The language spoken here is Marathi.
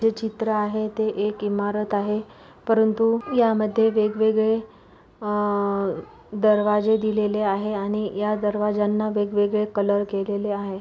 जे चित्र आहे ते एक इमारत आहे परंतु यामध्ये वेगवेगळे अ दरवाजे दिलेले आहे आणि या दरवाज्यांना वेगवेगळे कलर केलेले आहे.